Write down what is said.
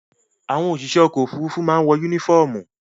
Àwọn òṣìṣẹ́ ọkọ̀-òfurufú máa ń wọ únífọ́ọ́mù.